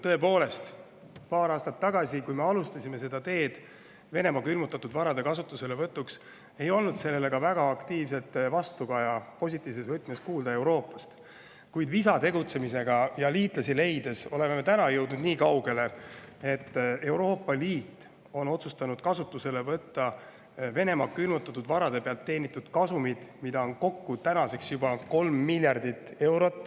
Tõepoolest, paar aastat tagasi, kui me alustasime seda teed Venemaa külmutatud varade kasutuselevõtuks, ei olnud sellele väga aktiivset vastukaja positiivses võtmes kuulda ka Euroopast, kuid visa tegutsemisega ja liitlasi leides oleme täna jõudnud nii kaugele, et Euroopa Liit on otsustanud kasutusele võtta Venemaa külmutatud varade pealt teenitud kasumid, mida on tänaseks juba kokku 3 miljardit eurot.